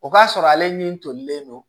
O b'a sɔrɔ ale ni tolilen don